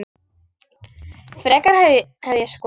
Frekar hefði ég skotið mig.